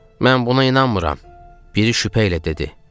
Mən buna inanmıram, - biri şübhə ilə dedi.